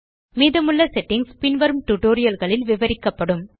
மீதமுள்ள செட்டிங்ஸ் பின்வரும் டியூட்டோரியல் களில் விவரிக்கப்படும்